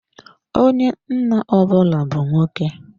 Onye nna ọ bụla bu nwoke.